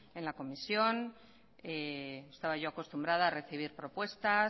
en la comisión y estaba yo acostumbrada a recibir propuestas